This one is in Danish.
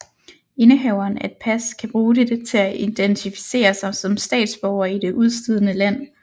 Indehaveren af et pas kan bruge dette til at identificere sig som statsborger i det udstedende land